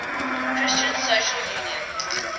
christian social union